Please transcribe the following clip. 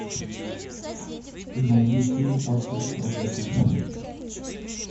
найди фильм остров проклятых